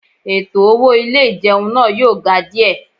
Ètò owó ilé ìjẹun náà yóò ga díẹ̀